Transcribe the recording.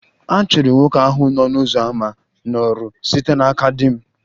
A chụrụ nwoke ahụ n'ọnụ ụzọ ámá n'ọrụ site n'aka di m